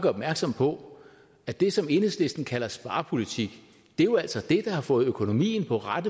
opmærksom på at det som enhedslisten kalder sparepolitik jo altså er det der har fået økonomien på ret